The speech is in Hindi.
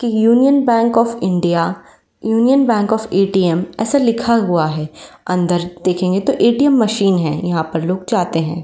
की union bank of India union bank of ATM ऐसा लिखा हुआ है। अंदर देखेंगे तो एटीएम मशीन है। यहाँ पर लोग जाते हैं।